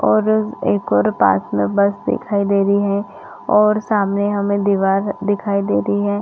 और एक एक और पास में बस दिखाई दे रही है और सामने हमें दिवार दिखाई दे रही है।